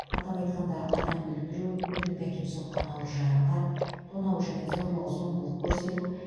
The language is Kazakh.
атап айтқанда адам өлтіру өлімге әкеп соққан ауыр жарақат тонау және зорлық зомбылық көрсету